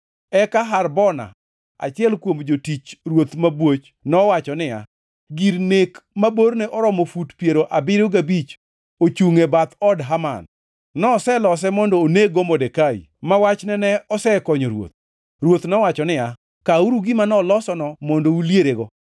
Eka Harbona, achiel kuom jotich ruoth mabwoch nowacho niya, “Gir nek ma borne oromo fut piero abiriyo gabich ochungʼ e bath od Haman. Noselose mondo oneg-go Modekai, ma wachne ne osekonyo ruoth.” Ruoth nowacho niya, “Kawuru gima nolosono mondo ulierego!”